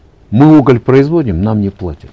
мы уголь производим нам не платят